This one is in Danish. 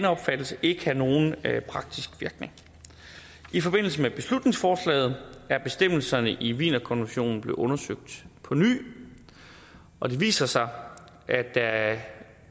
opfattelse ikke have nogen praktisk virkning i forbindelse med beslutningsforslaget er bestemmelserne i wienerkonventionen blevet undersøgt på ny og det viser sig